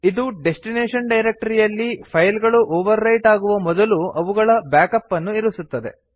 ಇದು ಡೆಸ್ಟಿನೇಶನ್ ಡೈರಕ್ಟರಿಯಲ್ಲಿ ಫೈಲ್ ಗಳು ಓವರ್ ರೈಟ್ ಆಗುವ ಮೊದಲು ಅವುಗಳ ಬ್ಯಾಕ್ಅಪ್ ಅನ್ನು ಇರಿಸುತ್ತದೆ